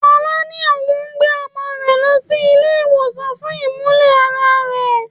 Fola ní òun gbé ọmọ rẹ lọ sí ilé ìwòsàn fún imule-ara rẹ.